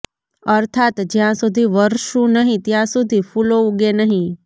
અર્થાત્ જ્યાં સુધી વરસું નહીં ત્યાં સુધી ફૂલો ઉગે નહીં